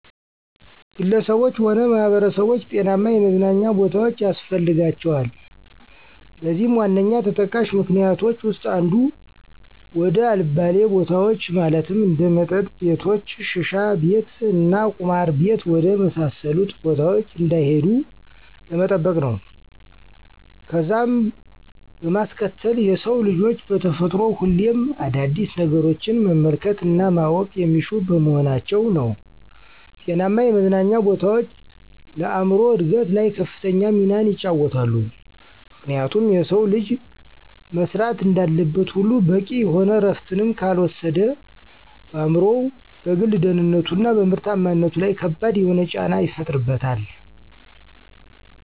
ግለሰቦች ሆነ ማህበረሰቦች ጤናማ የመዝናኛ ቦታዎች ያስፈልጋቸዋል። ለዚህም ዋነኛ ተጠቃሽ ምክኒያቶች ዉስጥ አንዱ፦ ወደ አልባሌ ቦታዎች ማለትም እንደ መጠጥ ቤቶች፣ ሽሻቤት እና ቁማር ቤት ወደ መሳሰሉት ቦታዎች እንዳይሄዱ ለመጠበቅ ነው። ከዛም በማስከተል የሰው ልጆች በተፈጥሮ ሁሌም አዳዲስ ነገሮችን መመልከት እና ማወቅን የሚሹ በመሆናቸው ነው። ጤናማ የመዝናኛ ቦታዎች ለአእምሮ እድገት ላይ ከፍተኛ ሚናን ይጫወታሉ፤ ምክንያቱም የሰው ልጅ መስራት እንዳለበት ሁሉ በቂ የሆነ እረፍትንም ካልወሰደ በአእምሮው፣ በግል ደህንነቱ፣ እና በምርታማነቱ ለይ ከባድ የሆነን ጫና ይፈጥርበታል።